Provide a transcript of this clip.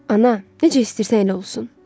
Ana, necə istəyirsən elə olsun.